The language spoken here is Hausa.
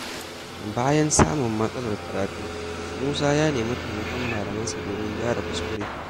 Bayan samun matsalar karatu, Musa ya nemi taimakon malamansa domin gyara kuskure.